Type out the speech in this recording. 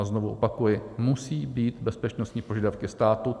A znovu opakuji, musí být bezpečnostní požadavky státu.